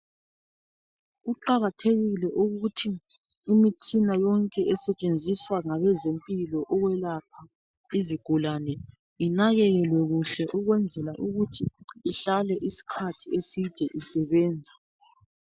Kuqakathekile ukuthi imitshina yonke esetshenziswa ngabezempilo ukwelapha izigulane inakekelwe kuhle ukwenzela ukuthi ihlale iskhathi eside isebenza.